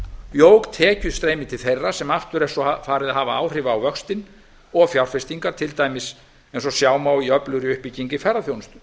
jók tekjustreymi til þeirra sem aftur er svo farið að hafa áhrif á vöxtinn og fjárfestingar til dæmis eins og sjá má í öflugri uppbyggingu í ferðaþjónustu